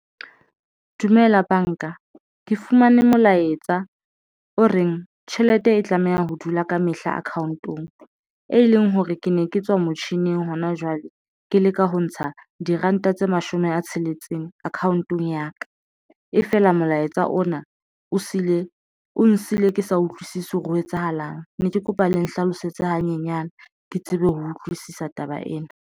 Dumela banka ke fumane molaetsa o reng? Tjhelete e tlameha ho dula ka mehla account-ong e leng hore ke ne ke tswa motjhining hona jwale ke leka ho ntsha di road ntate mashome a tsheletseng account-ong ya ka e feela, molaetsa ona o siile o nsiile ke sa utlwisisi hore ho etsahalang ne ke kopa le nhlalosetse hanyenyana ke tsebe ho utlwisisa taba ena.